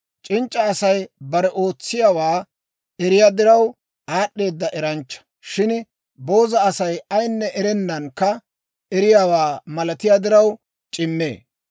C'inc'c'a Asay bare ootsiyaawaa eriyaa diraw, aad'd'eeda eranchcha; shin booza Asay ayinne erennankka eriyaawaa malatiyaa diraw c'immee.